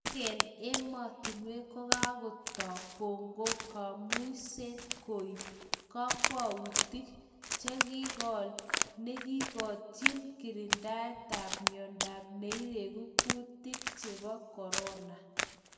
Alaken emotinwek kokakotoo koko kamuiset koip kokwoutik chekolkol nekitokyin kirindaetab miondo neiregu kutik chebo Corona